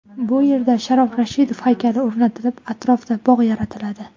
Bu yerda Sharof Rashidov haykali o‘rnatilib, atrofida bog‘ yaratiladi.